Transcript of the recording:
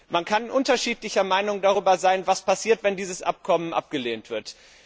Man kann unterschiedlicher Meinung darüber sein, was passiert, wenn dieses Abkommen abgelehnt wird.